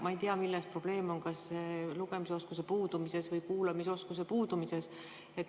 Ma ei tea, milles probleem on, kas lugemisoskuse puudumises või kuulamisoskuse puudumises.